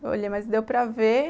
Eu olhei, mas deu para ver.